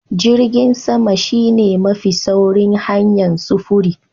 Jirgin sama shine mafi sauri hanyar sufuri.